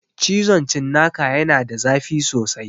Cizon cinnaka ya na da zafi sosai